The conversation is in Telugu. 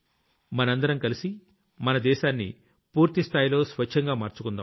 మనందరం కలిసి మన దేశాన్ని పూర్తి స్థాయిలో స్వచ్ఛంగా మార్చుకుందాం